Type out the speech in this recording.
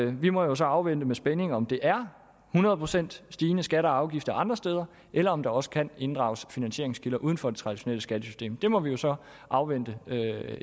vi må så afvente med spænding om det er hundrede procent stigende skatter og afgifter andre steder eller om der også kan inddrages finansieringskilder uden for det traditionelle skattesystem det må vi jo så afvente